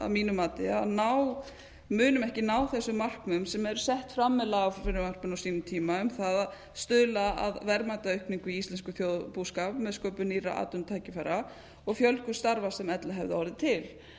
að mínu mati að ná munum ekki ná þessum markmiðum sem eru sett fram með lagafrumvarpinu á sínum tíma um það að stað að verðmætaaukningu í íslenskum þjóðarbúskap með sköpun nýrra atvinnutækifæra og fjölgun starfa sem ella hefðu